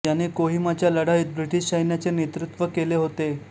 याने कोहिमाच्या लढाईत ब्रिटिश सैन्याचे नेतृत्त्व केले होते